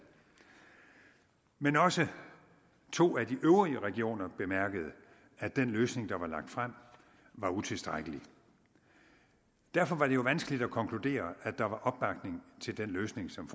men også to af de øvrige regioner bemærkede at den løsning der var lagt frem var utilstrækkelig derfor var det jo vanskeligt at konkludere at der var opbakning til den løsning som